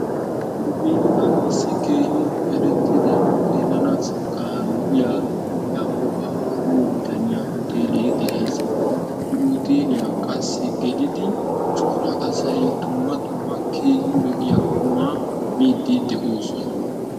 nu biittan issi keehin erettida xeelanassikka lo''iya Yaaqoba giyo bitaaniya uteelee de'ees. he uteeliyaa qassi geliddi coraa asay dumma dumma keehin lo''iyaa qumaa miidi de'oosona.